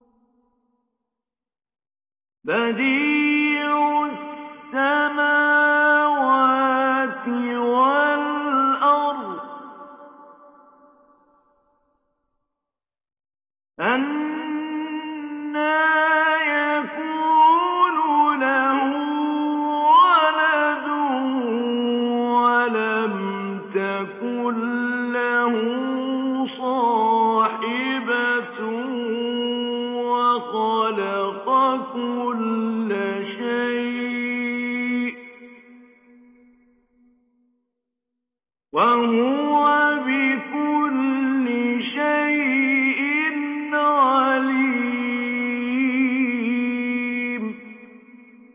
بَدِيعُ السَّمَاوَاتِ وَالْأَرْضِ ۖ أَنَّىٰ يَكُونُ لَهُ وَلَدٌ وَلَمْ تَكُن لَّهُ صَاحِبَةٌ ۖ وَخَلَقَ كُلَّ شَيْءٍ ۖ وَهُوَ بِكُلِّ شَيْءٍ عَلِيمٌ